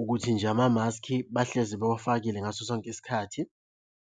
ukuthi nje amamaskhi bahlezi bewafakile ngaso sonke isikhathi.